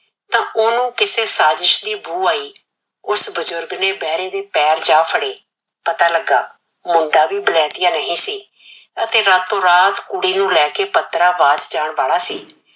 ਤਾ ਉਹਨੂੰ ਕਿਸੇ ਸਾਜਿਸ਼ ਦੀ ਬੂ ਆਈ। ਉਸ ਬਜੁਰਗ ਨੇ ਬਹਿਰੇ ਦੇ ਪੈਰ ਜਾ ਫੜੇ, ਪਤਾ ਲੱਗਾ ਮੁੰਡਾ ਵੀ ਬਲੈਤੀਆ ਨਹੀਂ ਸੀ ਅਤੇ ਰਾਤੋ ਰਾਤ ਕੁੜੀ ਨੂੰ ਨਾਲ ਲੈ ਕੇ ਪੱਤਰਾਬਾਦ ਜਾਣ ਵਾਲਾ ਸੀ।